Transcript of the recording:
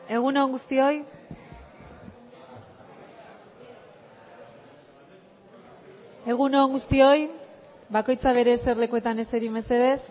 egun on guztioi egun on guztioi bakoitza bere eserlekuetan eseri mesedez